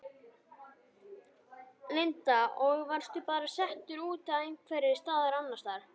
Linda: Og varstu bara settur út einhvers staðar annars staðar?